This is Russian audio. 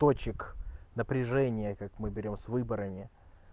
точек напряжение как мы берём с выборами